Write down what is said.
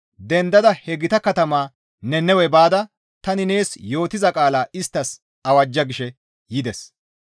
«Dendada he gita katamaa Nannawe baada tani nees yootiza qaalaa isttas awajja» gishe yides.